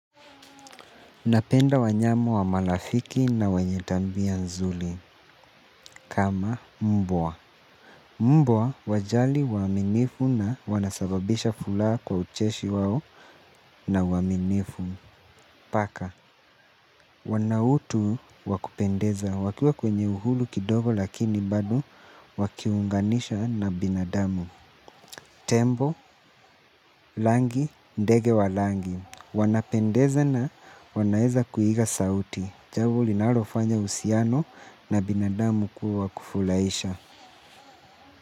Napenda wanyama wa malafiki na wenyetabia nzuri kama mbwa. Mbwa wajali waminifu na wanasababisha furaha kwa ucheshi wao na uwaaminifu. Paka wanautu wakupendeza wakiwa kwenye uhuru kidogo lakin bado wakiunganishwa na binadamu. Tembo, langi, ndege walangi. Wanapendeza na wanaeza kuiga sauti. Jambo li nalofanya uhusiano na binadamu kuwa kufurahisha.